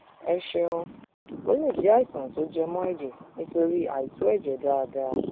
ẹ ṣeun ó lè jẹ àìsàn tó jẹ mọ ẹjẹ nítorí àìtó ẹjẹ dáadáa